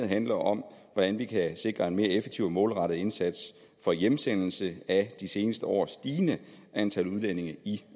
handler om hvordan vi kan sikre en mere effektiv og målrettet indsats for hjemsendelse af de seneste års stigende antal udlændinge i